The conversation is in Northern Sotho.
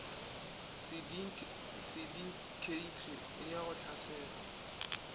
sindikheithi e ya go hlasela